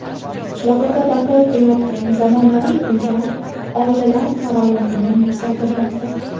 Qishloqlarda barpo etilayotgan zamonaviy uylar oilalar farovonligini yuksaltirmoqda.